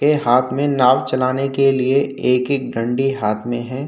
ये हाथ में नाव चलाने के लिए एक एक दंडी हाथ में है।